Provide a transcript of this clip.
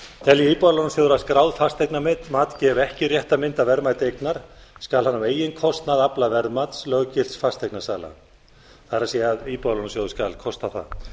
telji íbúðalánasjóður að skráð fasteignamat gefi ekki rétta mynd af verðmæti eignar skal hann á eigin kostnað afla verðmats löggilts fasteignasala það er íbúðalánasjóður kostar það